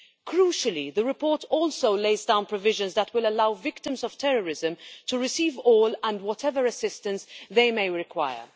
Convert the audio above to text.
Crucially, the report also lays down provisions that will allow victims of terrorism to receive all and whatever assistance they may require.